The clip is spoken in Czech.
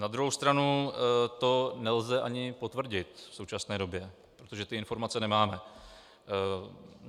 Na druhou stranu to nelze ani potvrdit v současné době, protože ty informace nemáme.